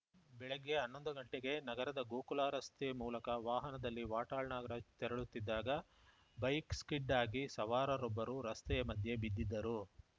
ಬೆಳಗ್ಗೆ ಹನ್ನೊಂದು ಗಂಟೆಗೆ ನಗರದ ಗೋಕುಲ ರಸ್ತೆ ಮೂಲಕ ವಾಹನದಲ್ಲಿ ವಾಟಾಳ್‌ ನಾಗರಾಜ್‌ ತೆರಳುತ್ತಿದ್ದಾಗ ಬೈಕ್‌ ಸ್ಕಿಡ್‌ ಆಗಿ ಸವಾರರೊಬ್ಬರು ರಸ್ತೆಯ ಮಧ್ಯೆ ಬಿದ್ದಿದ್ದರು